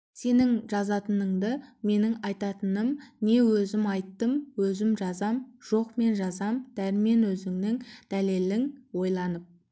рас жеңер ақынға бұл сөздің де орайы бар шығар бірақ әділетіңді өзің айтшы дәрмен сен ол